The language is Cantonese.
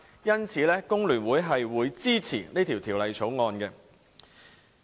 因此，工聯會支持《條例草案》。